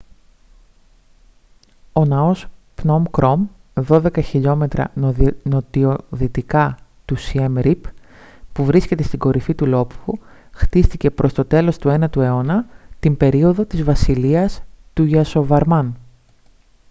ο ναός πνομ κρομ -12 χιλιόμετρα νοτιοδυτικά του σιέμ ριπ που βρίσκεται στην κορυφή του λόφου χτίστηκε προς το τέλος του 9ου αιώνα την περίοδο της βασιλείας του γιασοβαρμάν